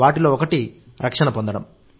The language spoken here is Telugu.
వాటిలో ఒకటి రక్షణ పొందడం